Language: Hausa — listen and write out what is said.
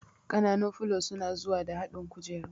Ƙananun filo suna zuwa da haɗin kujeru